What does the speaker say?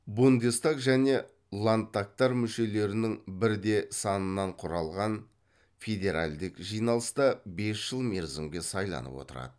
бундестаг және ландтагтар мүшелерінің бірде санынан құралған федеральдік жиналыста бес жыл мерзімге сайланып отырады